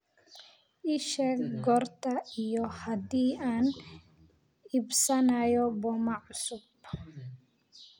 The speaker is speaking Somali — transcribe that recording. ii sheeg goorta iyo haddii aan iibsanayo boma cusub